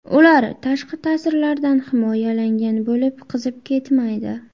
Ular tashqi ta’sirlardan himoyalangan bo‘lib, qizib ketmaydi.